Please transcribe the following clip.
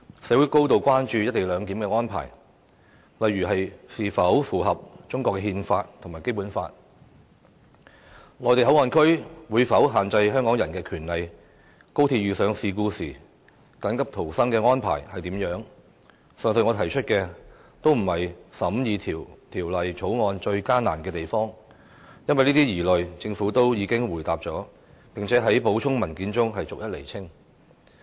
社會高度關注"一地兩檢"的安排是否符合中國憲法和《基本法》、內地口岸區會否限制香港人的權利、高鐵遇上事故時的緊急逃生安排等，均不是審議《條例草案》時遇到的最大困難，因為政府已回應了這些疑慮，並在補充文件中對有關問題逐一釐清。